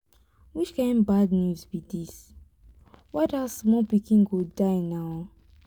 which kin bad news be dis. why dat small pikin go die now.